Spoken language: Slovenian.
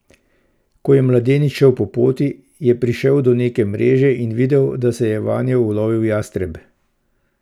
Ko je mladenič šel po poti, je prišel do neke mreže in videl, da se je vanjo ulovil jastreb.